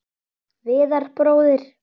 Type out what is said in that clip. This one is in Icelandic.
Viðar bróðir.